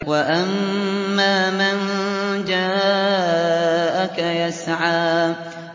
وَأَمَّا مَن جَاءَكَ يَسْعَىٰ